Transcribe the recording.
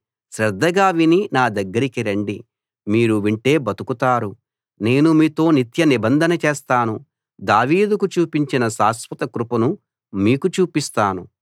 శ్రద్ధగా విని నా దగ్గరికి రండి మీరు వింటే బతుకుతారు నేను మీతో నిత్య నిబంధన చేస్తాను దావీదుకు చూపించిన శాశ్వతకృపను మీకు చూపిస్తాను